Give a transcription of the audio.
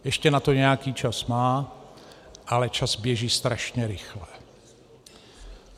Ještě na to nějaký čas má, ale čas běží strašně rychle.